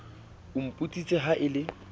o mpontshitse ha e le